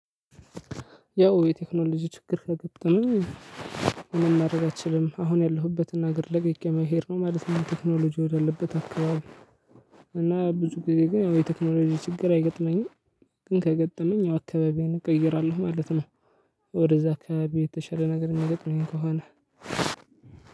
ያው የቴክኖሎጂ ችግር ከገጠመኝ ምንም ማድረግ አትችልም። አሁን ያለሁበትን ሀገር ለቅቄ መሄድ ነው ማለት ነው ቴክኖሎጂ ወዳለበት አካባቢ። እና ብዙ ጊዜ ግን የቴክኖሎጂ ችግር አይገጥመኝም። ግን ከገጠመኝ አካባቢዬን እቀይራለሁ ማለት ነው። ወደዛ አካባቢ የተሻለ ነገር የሚገጥመኝ ከሆነ።